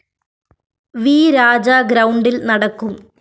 V Raja ഗ്രൗണ്ടില്‍ നടക്കും